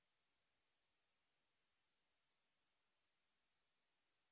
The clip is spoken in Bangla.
এটি স্পোকেন টিউটোরিয়াল প্রকল্পটি সারসংক্ষেপে বোঝায়